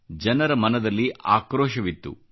ಜನರ ಮನದಲ್ಲಿ ಆಕ್ರೋಶವಿತ್ತು